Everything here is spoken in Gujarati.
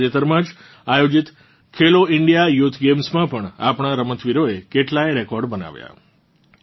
તાજેતરમાં જ આયોજીત ખેલો ઇન્ડિયા યુથ ગેમ્સ માં પણ આપણાં રમતવીરોએ કેટલાય રેકોર્ડ બનાવ્યાં